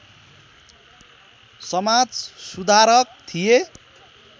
समाज सुधारक थिए